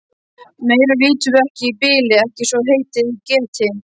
Meira vitum við ekki í bili, ekki svo heitið geti.